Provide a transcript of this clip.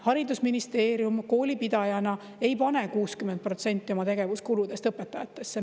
Haridusministeerium kooli pidajana ei pane 60% oma tegevuskuludest õpetajatesse.